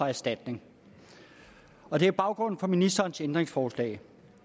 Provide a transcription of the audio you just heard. erstatning og det er baggrunden for ministerens ændringsforslag